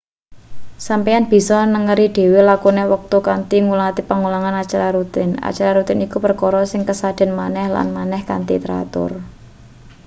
sampeyan bisa nengeri dhewe lakune wektu kanthi ngulati pengulangan acara rutin acara rutin iku perkara sing kasadean maneh lan maneh kanthi teratur